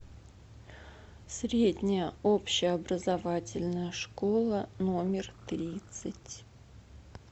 средняя общеобразовательная школа номер тридцать